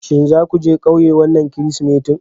Shin za ku je ƙauye wannan Kirsimeti?